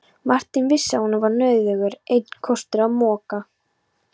Marteinn vissi að honum var nauðugur einn kostur að moka.